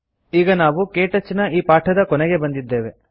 ಈಗ ನಾವು ಕೆಟಚ್ ನ ಈ ಪಾಠದ ಕೊನೆಗೆ ಬಂದಿದ್ದೇವೆ